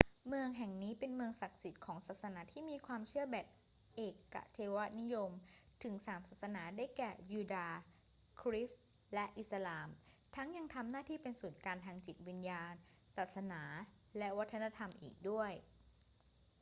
เมืองแห่งนี้เป็นเมืองศักดิ์สิทธิ์ของศาสนาที่มีความเชื่อแบบเอกเทวนิยมถึงสามศาสนา ได้แก่ ยูดาห์ คริสต์ และอิสลาม ทั้งยังทำหน้าที่เป็นศูนย์กลางทางจิตวิญญาณ ศาสนา และวัฒนธรรมอีกด้วย